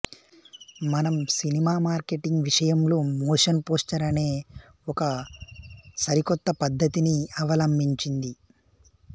మనం cinema marketing విషయంలో motion poster అనే ఒక సరికొత్త పద్ధతిని అవలంభించింది